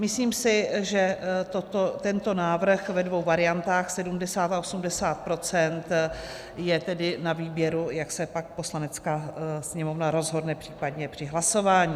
Myslím si, že tento návrh ve dvou variantách, 70 a 80 %, je tedy na výběru, jak se pak Poslanecká sněmovna rozhodne případně při hlasování.